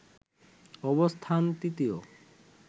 অবস্থান তৃতীয়